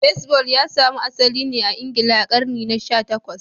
Baseball ya samo asali ne a Ingila a karni na sha takwas